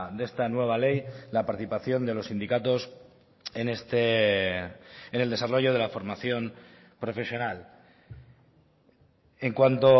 de esta nueva ley la participación de los sindicatos en el desarrollo de la formación profesional en cuanto